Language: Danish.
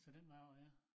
Så den vej over ja